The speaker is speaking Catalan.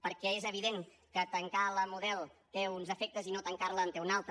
perquè és evident que tancar la model té uns efectes i no tancar la en té un altre